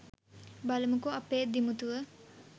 බලමුකො අපේ දිමුතුව